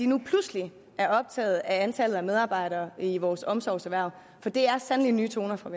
nu pludselig er optaget af antallet af medarbejdere i vores omsorgserhverv for det er sandelig nye toner fra